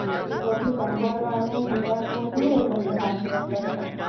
એ બધુ સંબડવાનું જોવાનું વધરે ગમે વચવા કરતાં